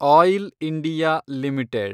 oil India limited